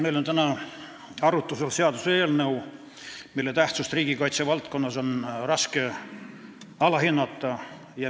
Meil on täna arutlusel seaduseelnõu, mille tähtsust riigikaitsevaldkonnas ei tohi alahinnata.